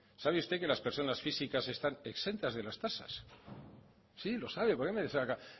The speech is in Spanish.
sabe usted que las personas físicas están exentas de las tasas sí lo sabe porque me saca